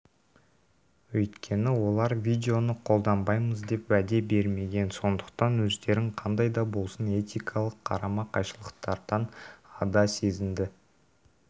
өйткені олар видеоны қолданбаймыз деп уәде бермеген сондықтан өздерін қандай да болсын этикалық қарама-қайшылықтардан ада сезінді